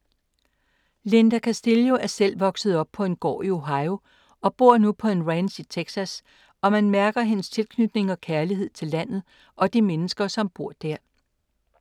Linda Castillo er selv opvokset på en gård i Ohio og bor nu på en ranch i Texas og man mærker hendes tilknytning og kærlighed til landet og de mennesker som bor der.